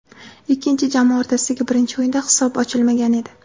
Ikki jamoa o‘rtasidagi birinchi o‘yinda hisob ochilmagan edi.